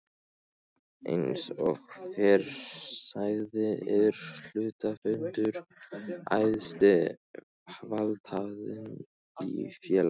Eins og fyrr sagði er hluthafafundur æðsti valdhafinn í félaginu.